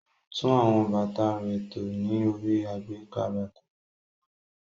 Kò le tún àwọn bàtà rẹ̀ tò ní orí àgbékà bàtà.